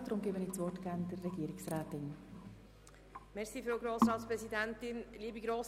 Stimmen Sie diesem Antrag bitte zu.